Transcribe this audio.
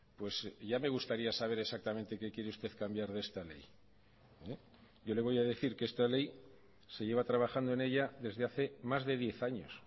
pues ya me gustaría saber exactamente qué quiere usted cambiar de esta ley yo le voy a decir que esta ley se lleva trabajando en ella desde hace más de diez años